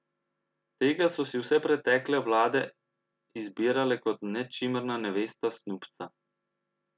Tega so si pretekle vlade izbirale kot nečimrna nevesta snubca.